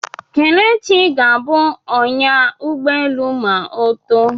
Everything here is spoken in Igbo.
Kelechi ga-abụ ọnyá ụgbọelu ma ọ too.